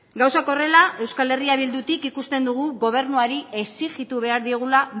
gauzak horrela euskal herria bildutik ikusten dugu gobernuari exijitu behar diogula